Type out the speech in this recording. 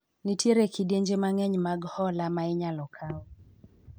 nitiere kidienje mang'eny mag hola ma inyalo kawo